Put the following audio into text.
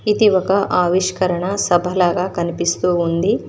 ఇది ఒక ఆవిష్కరణ సభ లాగా కనిపిస్తూ ఉంది.